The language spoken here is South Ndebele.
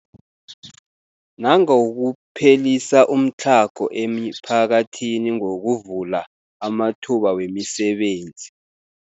Nangokuphelisa umtlhago emiphakathini ngokuvula amathuba wemisebenzi.